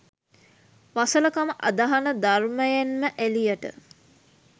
වසල කම අදහන ධර්මයෙන්ම එලියට.